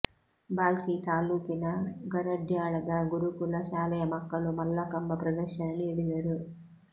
ಭಾಲ್ಕಿ ತಾಲ್ಲೂಕಿನ ಕರಡ್ಯಾಳದ ಗುರುಕುಲ ಶಾಲೆಯ ಮಕ್ಕಳು ಮಲ್ಲಕಂಬ ಪ್ರದರ್ಶನ ನೀಡಿದರು